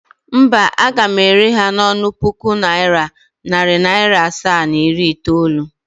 Mba, aga m ere ha n' onu puku naira, nari naira asaa, na iri itoolu.